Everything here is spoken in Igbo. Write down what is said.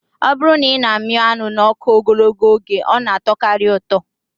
Ọ bụrụ na ị mịa anụ n'ọkụ ogologo oge, ọ na atọkarị ụtọ